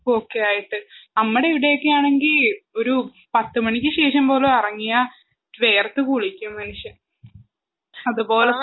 ഒക്കെയായിട്ട് നമ്മദിവിടെയൊക്കെയാണെങ്കി ഒരു പത്ത് മണിക്ക് ശേഷം പോലും എറങ്ങിയാ വെയർത്ത് കുളിക്കും മനുഷ്യൻ അത്പോലത്തെ